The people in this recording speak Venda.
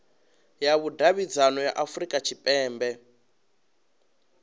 ya vhudavhidzano ya afurika tshipembe